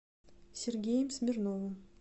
сергеем смирновым